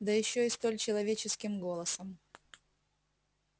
да ещё и столь человеческим голосом